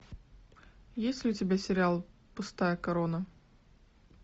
есть ли у тебя сериал пустая корона